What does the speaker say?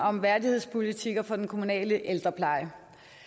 om værdighedspolitikker for den kommunale ældrepleje